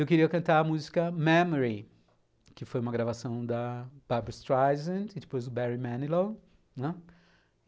Eu queria cantar a música Memory, que foi uma gravação da Barbra Streisand e depois do Barry Manilow.